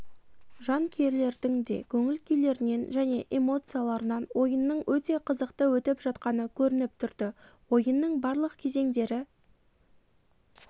жанкүйерлердің де көңіл-күйлерінен және эмоцияларынан ойынның өте қызықты өтіп жатқаны көрініп тұрды ойынның барлық кезеңдері